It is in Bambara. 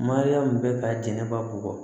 Mariyamu bɛ ka jɛnɛba bugɔ